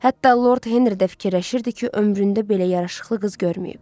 Hətta Lord Henri də fikirləşirdi ki, ömründə belə yaraşıqlı qız görməyib.